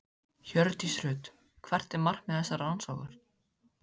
Hjördís Rut: Hvert er markmið þessarar rannsóknar?